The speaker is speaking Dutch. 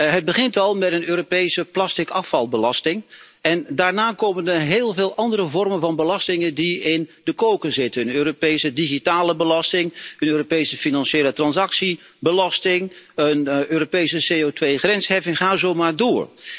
Het begint al met een Europese plasticafvalbelasting en daarna komen heel veel andere vormen van belastingen die in de koker zitten een Europese digitale belasting, een Europese financiële transactiebelasting, een Europese CO2 grensheffing en ga zo maar door.